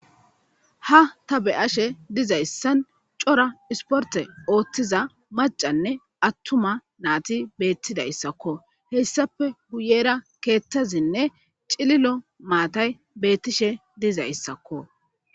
ha ta beyashe dizayssan cora isporte ooththiza macanne attuma naati beettidayssakko hessape guyera keettazinne cililo maatay beettishe dizayssakko.